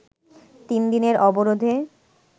তিন দিনের অবরোধে